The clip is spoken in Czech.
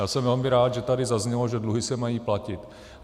Já jsem velmi rád, že tady zaznělo, že dluhy se mají platit.